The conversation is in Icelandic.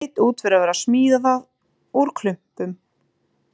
Leit út fyrir að vera smíðað úr klumpum.